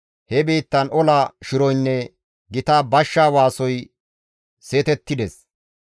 He biittan ola shiroynne gita bashsha waasoy seetettides.